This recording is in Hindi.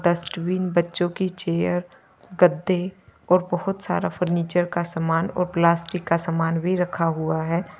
डस्टबिन बच्चों की चेयर गद्दे और बहोत सारा फर्नीचर का सामान और प्लास्टिक का सामान भी रखा हुआ है।